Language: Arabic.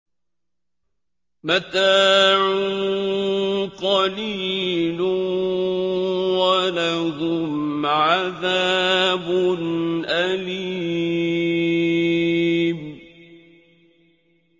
مَتَاعٌ قَلِيلٌ وَلَهُمْ عَذَابٌ أَلِيمٌ